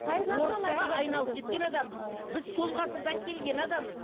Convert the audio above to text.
біз сол ғасырдан келген адамбыз